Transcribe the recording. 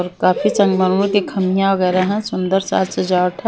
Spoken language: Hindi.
काफी संगमरमर के खमियाँ वैगैरह हैं सुंदर साज सजावट है।